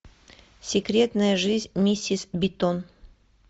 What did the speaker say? секретная жизнь миссис битон